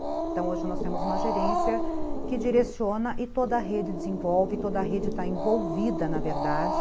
Então hoje nós temos uma gerência que direciona e toda a rede desenvolve, toda a rede está envolvida na verdade.